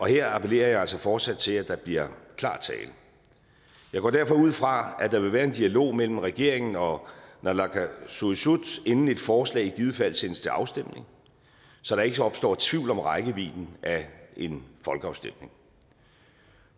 her appellerer jeg altså fortsat til at der bliver klar tale jeg går derfor ud fra at der vil være en dialog mellem regeringen og naalakkersuisut inden et forslag i givet fald sendes til afstemning så der ikke opstår tvivl om rækkevidden af en folkeafstemning